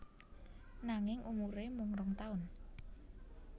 Nanging umuré mung rong taun